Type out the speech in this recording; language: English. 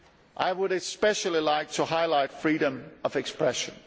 I would especially like to highlight freedom of expression.